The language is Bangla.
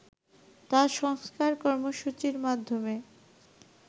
তাঁর সংস্কার কর্মসূচীর মাধ্যমে